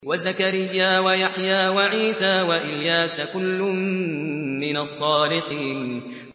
وَزَكَرِيَّا وَيَحْيَىٰ وَعِيسَىٰ وَإِلْيَاسَ ۖ كُلٌّ مِّنَ الصَّالِحِينَ